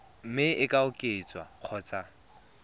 mme e ka oketswa kgotsa